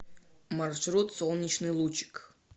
маршрут солнечный лучик